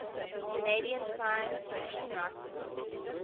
canadian science fiction writers